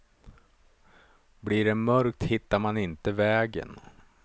Blir det mörkt hittar man inte vägen.